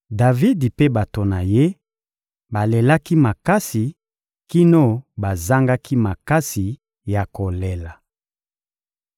Davidi mpe bato na ye balelaki makasi kino bazangaki makasi ya kolela.